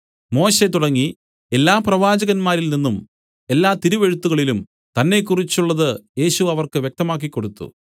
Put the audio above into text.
മോശെ തുടങ്ങി എല്ലാ പ്രവാചകന്മാരിൽ നിന്നും എല്ലാ തിരുവെഴുത്തുകളിലും തന്നെക്കുറിച്ചുള്ളത് യേശു അവർക്ക് വ്യക്തമാക്കി കൊടുത്തു